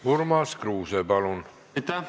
Urmas Kruuse, palun!